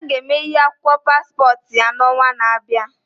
Ada ga eme akwụkwọ paspọt ya n'ọnwa n'abịa